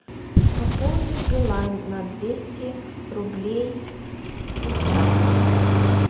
пополнить билайн на двести рублей сейчас